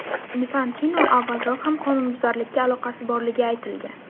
Infantino avvalroq ham qonunbuzarlikka aloqasi borligi aytilgan.